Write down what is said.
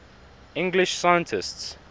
english scientists